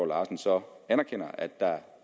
larsen så anerkender at der